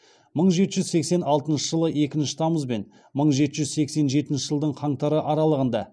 мың жеті жүз сексен алтыншы жылы екінші тамыз бен мың жеті жүз сексен жетінші жылдың қаңтары аралығында